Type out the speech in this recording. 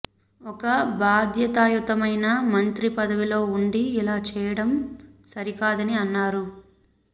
ఒక బాధ్యతాయుతమైన మంత్రి పదవిలో ఉండి ఇలా చేయడం సరికాదని అన్నారు